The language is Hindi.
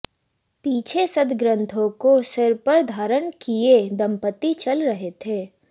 पीछे सदग्रंथों को सिर पर धारण किए दंपति चल रहे थे